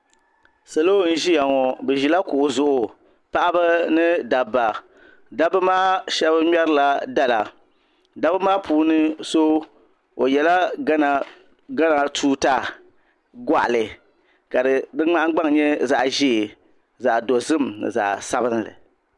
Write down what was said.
Sali n ʒiya ŋo bi ʒila kuɣu zuɣu paɣaba ni dabba dabba maa shab ŋmɛrila dala dabba maa puuni so o yɛla gana tuuta goɣali ka di nahangbana nyɛ zaɣ ʒiɛ zaɣ dozim ni zaɣ sabinli